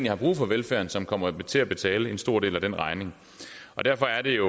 har brug for velfærden som kommer til at betale en stor del af den regning derfor er det jo